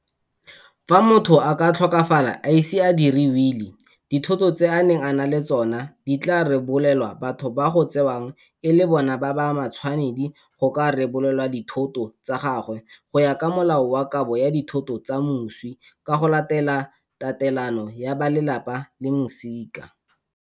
Fa motho a ka tlhokafala a ise a diri wili, dithoto tse a neng a na le tsona di tla rebolelwa batho ba go tsewang e le bona ba ba matshwanedi go ka rebolelwa dithoto tsa gagwe go ya ka Molao wa Kabo ya Ditho tsa Moswi ka go Latela Tatelano ya ba Lelapa le Masika.